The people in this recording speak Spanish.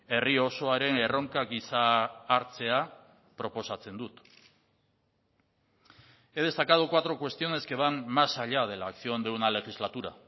herri osoaren erronka gisa hartzea proposatzen dut he destacado cuatro cuestiones que van más allá de la acción de una legislatura